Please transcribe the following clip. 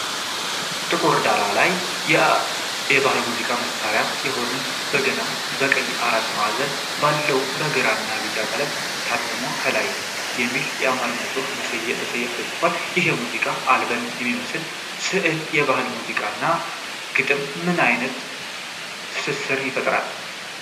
ጥቁር ዳራ ላይ የባህል ሙዚቃ መሳሪያ የሆነ በገና ከቀይ አራት ማዕዘን በላይ በግራና ቢጫ ቀለም ታትሞ፣ ከላይ የሚል የአማርኛ ጽሑፍ በሰያፍ ተጽፏል፤ ይህ የሙዚቃ አልበም የሚመስል ስዕል የባህል ሙዚቃና ግጥም ምን አይነት ትስስር ይፈጥራል?